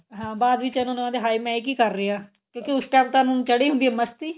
ਹਾਂ ਬਾਅਦ ਵਿੱਚ ਇਹਨਾ ਨੂੰ ਹਾਏ ਇਹ ਮੈਂ ਕੀ ਕਰ ਰਿਹਾ ਕਿਉਂਕੀ ਉਸ time ਤਾਂ ਇਹਨਾ ਨੂੰ ਚੜੀ ਹੁੰਦੀ ਏ ਮਸਤੀ